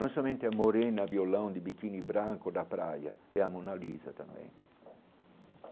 Não somente a Morena, a violão de biquini branco da praia, é a Mona Lisa também.